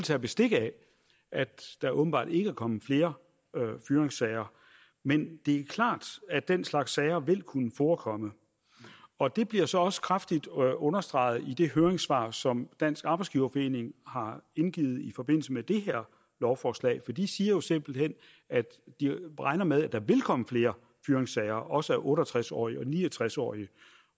tage bestik af at der åbenbart ikke er kommet flere fyringssager men det er klart at den slags sager vil kunne forekomme og det bliver så også kraftigt understreget i det høringssvar som dansk arbejdsgiverforening har indgivet i forbindelse med det her lovforslag for de siger jo simpelt hen at de regner med at der vil komme flere fyringssager også af otte og tres årige og ni og tres årige